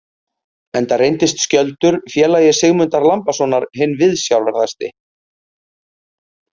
Enda reyndist Skjöldur, félagi Sigmundar Lambasonar, hinn viðsjárverðasti.